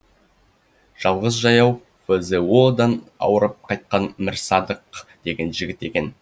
жалғыз жаяу фзо дан ауырып қайтқан мірсадық деген жігіт екен